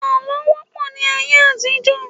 Àlọ́ wọ́ pọ̀ ní ayé àtijọ́.